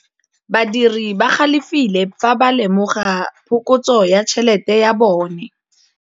Badiri ba galefile fa ba lemoga phokotsô ya tšhelête ya bone.